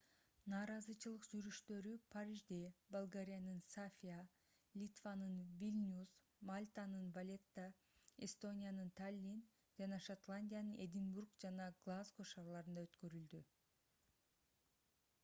нааразычылык жүрүштөрү парижде болгариянын софия литванын вильнюс мальтанын валетта эстониянын таллин жана шотландиянын эдинбург жана глазго шаарларында өткөрүлдү